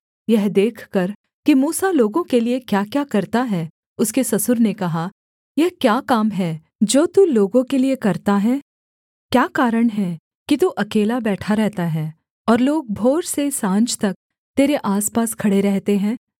यह देखकर कि मूसा लोगों के लिये क्याक्या करता है उसके ससुर ने कहा यह क्या काम है जो तू लोगों के लिये करता है क्या कारण है कि तू अकेला बैठा रहता है और लोग भोर से साँझ तक तेरे आसपास खड़े रहते हैं